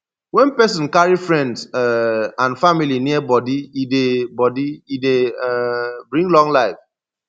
when person carry friends um and family near body e dey body e dey um bring long life